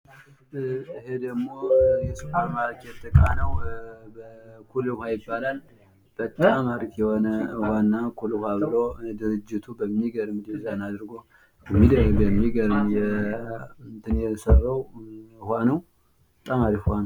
ይህ ደሞ የሱፐርማርኬት እቃ ነው ፤ ኩል ዉሃ ይባላል ፤ በጣም አሪፍ የሆነ እና ድርጅቱ ኩል ዉሃ ብሎ የሰራው በጣም አሪፍ ዉሃ ነው።